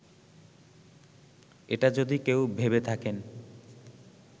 এটা যদি কেউ ভেবে থাকেন